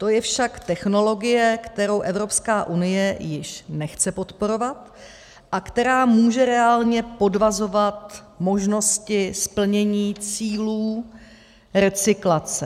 To je však technologie, kterou Evropská unie již nechce podporovat a která může reálně podvazovat možnosti splnění cílů recyklace.